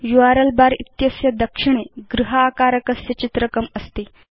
URL bar इत्यस्य दक्षिणे गृह आकारकस्य चित्रकम् अस्ति